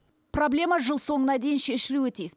проблема жыл соңына дейін шешілуі тиіс